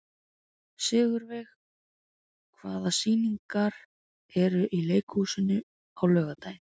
Sigurveig, hvaða sýningar eru í leikhúsinu á laugardaginn?